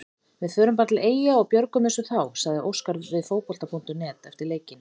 Við förum bara til Eyja og björgum þessu þá, sagði Óskar við Fótbolta.net eftir leikinn.